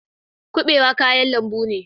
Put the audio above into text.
Kubewa kayan lambu ne.